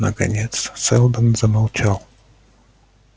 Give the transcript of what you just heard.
наконец сэлдон замолчал